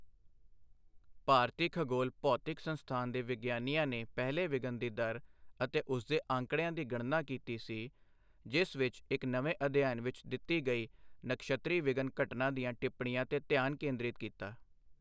ਭਾਰਤੀ ਖਗੋਲ ਭੌਤਿਕੀ ਸੰਸਥਾਨ ਦੇ ਵਿਗਿਆਨੀਆਂ ਨੇ ਪਹਿਲੇ ਵਿਘਨ ਦੀ ਦਰ ਅਤੇ ਉਸਦੇ ਅੰਕੜਿਆਂ ਦੀ ਗਣਨਾ ਕੀਤੀ ਸੀ, ਜਿਸ ਵਿੱਚ ਇੱਕ ਨਵੇਂ ਅਧਿਐਨ ਵਿੱਚ ਦਿੱਤੀ ਗਈ ਨਕਸ਼ੱਤਰੀ ਵਿਘਨ ਘਟਨਾ ਦੀਆਂ ਟਿੱਪਣੀਆਂ ਤੇ ਧਿਆਨ ਕੇਂਦਰਿਤ ਕੀਤਾ।